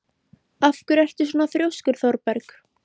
Af hverju ertu svona þrjóskur, Thorberg?